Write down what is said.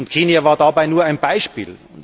Kenia war dabei nur ein Beispiel.